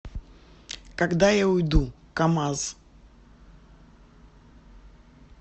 когда я уйду камаз